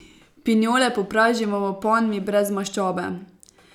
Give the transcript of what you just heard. Pinjole popražimo v ponvi brez maščobe.